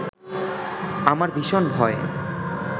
আমার ভীষণ ভয়